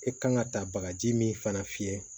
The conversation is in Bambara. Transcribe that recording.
E kan ka taa bagaji min fana fiyɛ